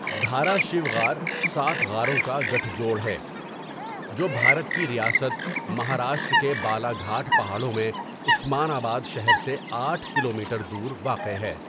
دھاراشیو غار سات غاروں کا گٹھ جوڑ ہے جو بھارت کی ریاست مہاراشٹر کے بالاگھاٹ پہاڑوں میں عثمان آباد شہر سے آٹھ کلومیٹر دور واقع ہے۔